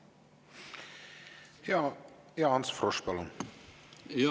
Ants Frosch, palun!